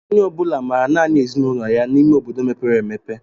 Onye ọbula maara nanị ezinụlọ ya n'ime obodo mepere emepe.